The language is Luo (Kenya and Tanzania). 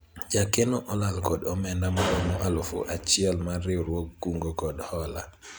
jakeno olal kod omenda maromo alufu achiel mar riwruog kungo kod hola